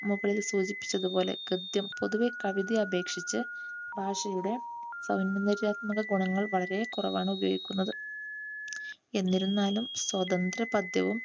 മുകളിൽ സൂചിപ്പിച്ചതുപോലെ ഗദ്യം പൊതുവിൽ കവിതയെ അപേക്ഷിച്ച് ഭാഷയുടെ സൗന്ദര്യാത്മക ഗുണങ്ങൾ വളരെ കുറവാണ് ഉപയോഗിക്കുന്നത്. എന്നിരുന്നാലും സ്വതന്ത്ര പദ്യവും,